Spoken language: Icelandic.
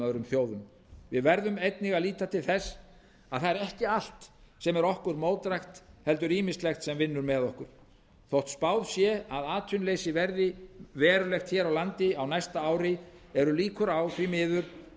öðrum þjóðum við verðum einnig að líta til þess að það er ekki allt sem er okkur mótdrægt heldur ýmislegt sem vinnur með okkur þótt spáð sé að atvinnuleysi verði verulegt hér á landi á næsta ári eru líkur á því miður